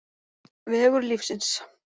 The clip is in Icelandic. Vegur lífsins